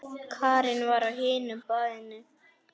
Karen var á hinu baðinu.